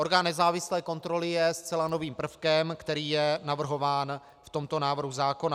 Orgán nezávislé kontroly je zcela novým prvkem, který je navrhován v tomto návrhu zákona.